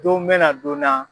Don bɛna na don na.